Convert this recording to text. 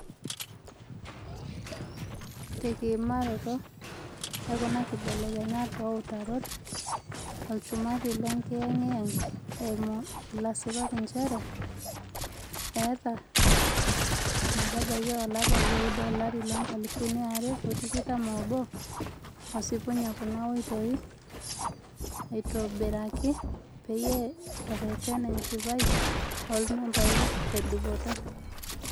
Tekiimaroto ekuna kibelekenyat ooutarot, olchumati le ngiyengiyeng - eimu ilasipak lenye - eeta ometabaiki olapa leudo olari loonkalifuni are otikitam oobo osipunye kuna oitoi aitobiraki peyie ereten enchipai oolmembai tedupoto.